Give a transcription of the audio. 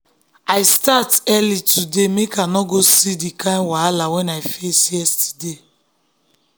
i start early today make i no go see the kind wahala wey i face yesterday.